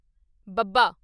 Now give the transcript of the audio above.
ਬੱਬਾ